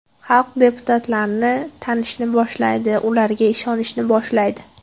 Xalq deputatlarni tanishni boshlaydi, ularga ishonishni boshlaydi.